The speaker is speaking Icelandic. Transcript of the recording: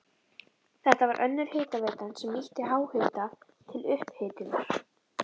Þetta var önnur hitaveitan sem nýtti háhita til upphitunar.